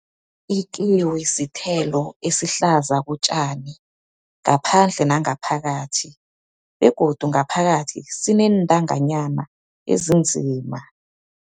Ikiwi sithelo esihlaza kotjani, ngaphandle nangaphakathi. Begodu ngaphakathi sineentanganyana ezinzima.